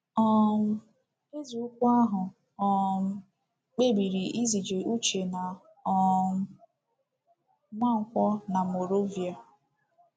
um Eze ukwu ahụ um kpebiri izije Uche na um Nwankwo na Moravia.